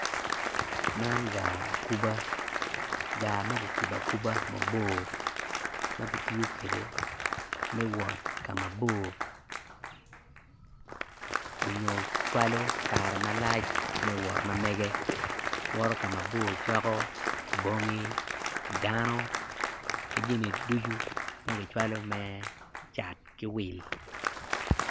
Man gaar akuba gaar ma kikubo akuba mabor ma kitiyo kwede me wot ka mabor nyo cwalo kare malac me wot mamege woto ka mabor coko bongi dano ki jami ducu ma kicwalo me cat ki wil.